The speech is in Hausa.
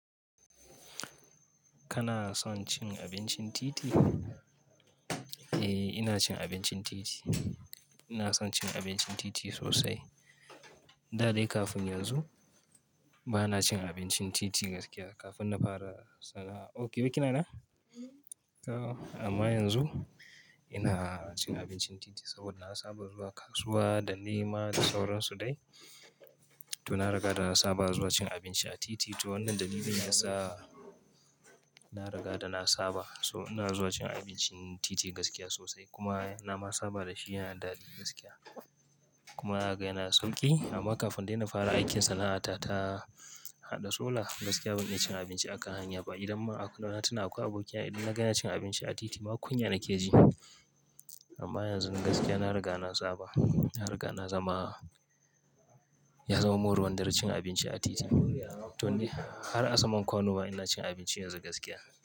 Kana son cin abincin titi? Eh, ina cin abincin titi. Ina son cin abincin titi sosai. Da dai kafin yanzu, bana cin abincin titi gaskiya kafin na fara sana'a. Ok, yau kina ina? Amma yanzu ina cin abincin titi saboda na saba zuwa kasuwa da nema da sauransu dai. To, na riga da na saba zuwa cin abinci a titi. To wannan dalilin yasa na riga da na saba. So ina zuwa cin abincin titi gaskiya sosai kuma na ma saba dashi yana da daɗi gaskiya. Kuma ga yana sauƙi. Amma kafin dai na fara aikin sana'ata ta hazatona gaskiya ban iya cin abinci a kan hanya ba. Idan ma a Kano na tuna aku abokina, idan na gani ya cin abinci a titi, ma kunya nake ji. Amma yanzu gaskiya, na riga na saba. Na riga na zama, ya zamar kun ruwan dare cin abinci a titi. To dai har a saman kwano ma ina cin abinci yanzu gaskiya.